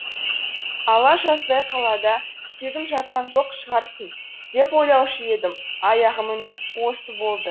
ала жаздай қалада тегін жатқан жоқ шығарсың деп ойлаушы едім аяғы міні осы болды